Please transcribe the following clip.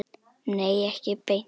Nei, ekki beint.